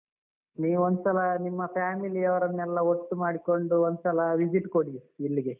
ನೀವೊಂದ್ಸಲ ನಿಮ್ಮ family ಯವರೆನ್ನೆಲ್ಲ ಒಟ್ಟು ಮಾಡಿಕೊಂಡು ಒಂದ್ಸಲ visit ಕೊಡಿ ಇಲ್ಲಿಗೆ.